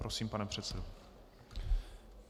Prosím, pane předsedo.